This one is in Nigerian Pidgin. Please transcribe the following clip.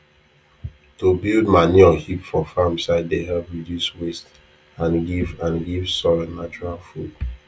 to build manure heap for farm side dey help reduce waste and give and give soil natural food